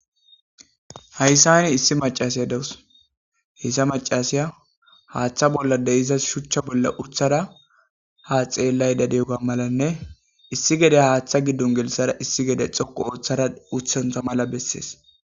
hayssani issi macasiya dawus heyssa macasiya haaththa bollade iza shuchcha bolla uthara ha xeellay dadeuga malanne issi gede haaththa giddon gilisara issi gede xoqo uoththara uthantha mala bessees